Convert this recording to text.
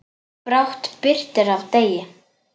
Brátt birtir af degi.